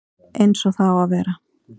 Eins og það á að vera